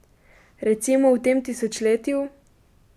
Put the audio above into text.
Recimo v tem tisočletju?